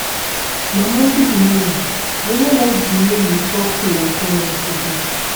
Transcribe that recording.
Mama good morning. I know like the way you talk to my friend yesterday